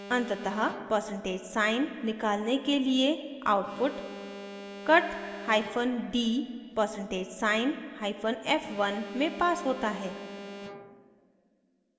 अंततः % sign निकालने के लिए output cuthyphen d %hyphen f1 में passed होता है